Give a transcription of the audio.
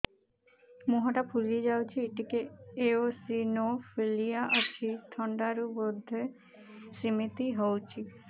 ମୁହଁ ଟା ଫୁଲି ଯାଉଛି ଟିକେ ଏଓସିନୋଫିଲିଆ ଅଛି ଥଣ୍ଡା ରୁ ବଧେ ସିମିତି ହଉଚି